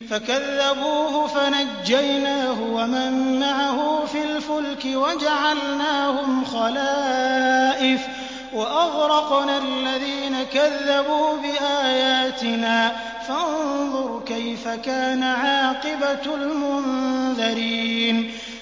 فَكَذَّبُوهُ فَنَجَّيْنَاهُ وَمَن مَّعَهُ فِي الْفُلْكِ وَجَعَلْنَاهُمْ خَلَائِفَ وَأَغْرَقْنَا الَّذِينَ كَذَّبُوا بِآيَاتِنَا ۖ فَانظُرْ كَيْفَ كَانَ عَاقِبَةُ الْمُنذَرِينَ